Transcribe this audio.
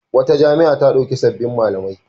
Wata jami'a ta ɗauki sabbin malamai